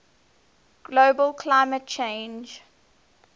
global climate change